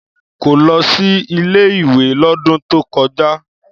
Kò lọ sí ilé-ìwé lọ́dún tó kọjá.